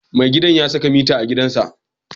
Mai gidan ya saka mita a gidansa.